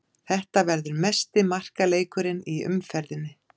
Þetta verður mesti markaleikurinn í umferðinni.